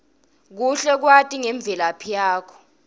kuhle kwati ngemvelaphi yakho